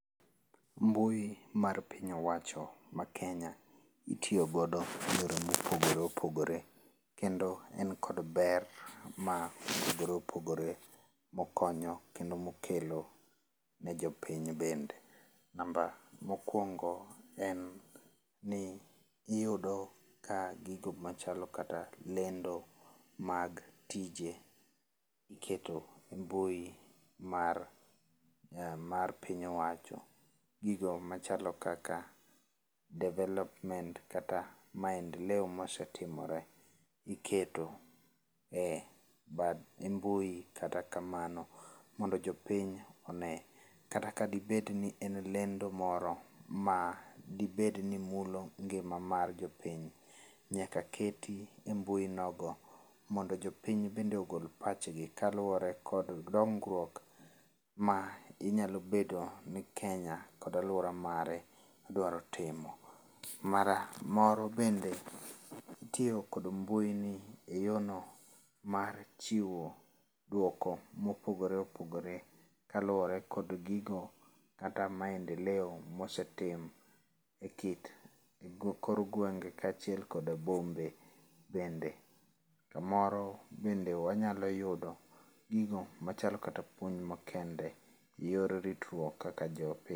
Mbui mar piny owacho ma Kenya itiyo godo e yore ma opogore opogore kendo en kod ber ma opogore opogore mokonyo kendo mokelo ne jopiny bende. Namba mokuongo en ni iyudo ka gigo machalo kata lendo mag tije iketo e mbui mar, mar piny owacho .Gigo machalo kaka development, kata maendeleo ma osetirmore iketo e bad, e mbui kata kamano mondo jopiny one, kata ka dibed ni en lendo moro ma dibed ni mulo ngima mar jopiny nyaka keti e mbui nogo mondo jopiny bende ogol pachgi kaluore kod dongruok ma inyalo bedo ni Kenya kod aluora mare idwaro timo. Mara, moro bende itiyo kod mbui e yorno mar chiwo duoko ma opogore opgore kaluore kod gigo kata maendeleo ma osetim e kit, e kor gwenge kachiel kod bombe bende samoro bende wanyalo yudo gigo machal kata puonj makende e yor ritruok kaka jopiny